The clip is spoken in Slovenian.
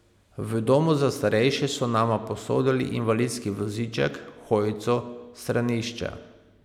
V domu za starejše so nama posodili invalidski voziček, hojico, stranišče ...